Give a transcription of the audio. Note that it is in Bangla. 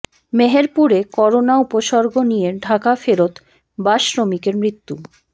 মেহেরপুরে করোনা উপসর্গ নিয়ে ঢাকা ফেরত বাস শ্রমিকের মৃত্যু